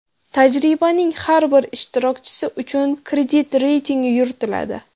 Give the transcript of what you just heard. Tajribaning har bir ishtirokchisi uchun kredit reytingi yuritiladi.